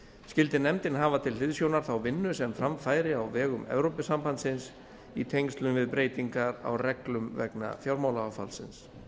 skyldi nefndin hafa til hliðsjónar þá vinnu sem fram færi á vegum evrópusambandsins í tengslum við breytingar á reglum vegna fjármálaáfallsins